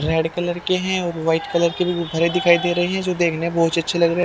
Red colour के हैं और व्हाइट कलर के भी भरे दिखाई दे रहे हैं जो देखने बहुत अच्छे लग रहे हैं।